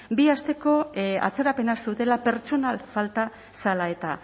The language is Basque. bi asteko atzerapenak zutela pertsonal falta zela eta